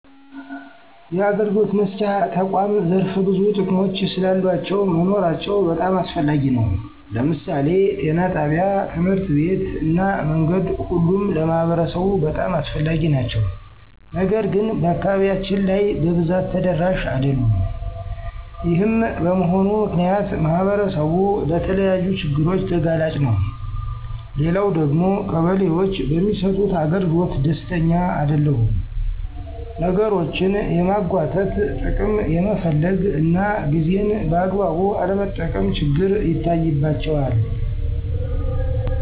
የአገልግሎት መስጫ ተቁዓም ዘርፈ ብዙ ጥቅሞች ስላሉአቸው መኖራቸው በጣም አስፈላጊ ነው። ለምሳሌ ጤና ጣቢያ፣ ትምህርት ቤት እና መንገድ ሁሉም ለማህበረሰቡ በጣም አስፈላጊ ናቸው። ነገር ግን በአካባቢያችን ላይ በብዛት ተደራሽ አደሉም። ይሄም በመሆኑ ምክንያት ማህበረሰቡ ለተለያዩ ችግሮች ተጋላጭ ነው። ሌላው ደግሞ ቀበሌዎች በሚሰጡት አገልግሎት ደስተኛ አደለሁም። ነገሮችን የማንጉአተት፣ ጥቅም የመፈለግ እና ጊዜን በአግባቡ አለመጠቀም ችግር ይታይባቸዋል።